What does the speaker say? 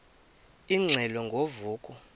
ingxelo ngo vuko